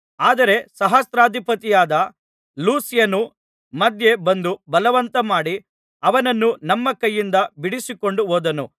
ಆದರೆ ಸಹಸ್ರಾಧಿಪತಿಯಾದ ಲೂಸ್ಯನು ಮಧ್ಯೆ ಬಂದು ಬಲವಂತಮಾಡಿ ಅವನನ್ನು ನಮ್ಮ ಕೈಯಿಂದ ಬಿಡಿಸಿಕೊಂಡು ಹೋದನು